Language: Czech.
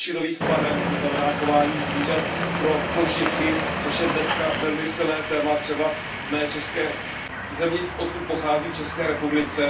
kožešinových farem, to znamená chování zvířat pro kožichy, což je dneska velmi silné téma třeba v zemi, odkud pocházím, v České republice.